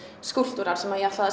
skúlptúrar sem ég ætlaði að